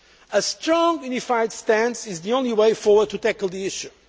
solved. A strong, unified stance is the only way forward to tackle the